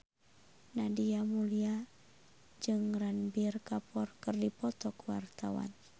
Nadia Mulya jeung Ranbir Kapoor keur dipoto ku wartawan